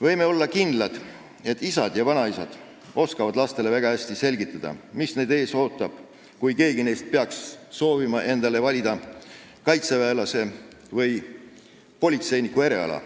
Võime olla kindlad, et isad ja vanaisad oskavad lastele väga hästi selgitada, mis neid ees ootab, kui keegi neist peaks soovima endale kaitseväelase või politseiniku eriala valida.